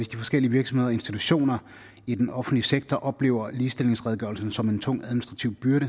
de forskellige virksomheder og institutioner i den offentlige sektor oplever ligestillingsredegørelsen som en tung administrativ byrde